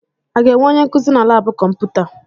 A ga-enwe onye nkuzi na laabụ kọmputa?